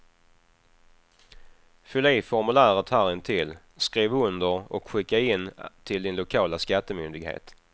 Fyll i formuläret här intill, skriv under och skicka in till din lokala skattemyndighet.